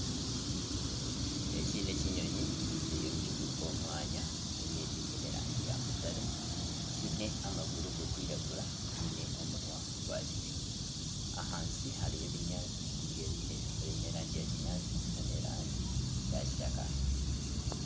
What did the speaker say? Eki n'ekinyonyi kiriyo nikiguruka omu mwanya kiine erangi ya mutare, kiine amaguru garikwiragura, kyine omunwa gwakinekye ahansi hariyo ebinyaatsi ebiine erangi yakinyaatsi nana erangi yakitaka.